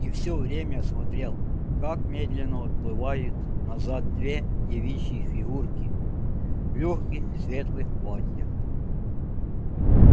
и всё время смотрел как медленно отплывает назад две девичьи фигурки в лёгких светлых платьях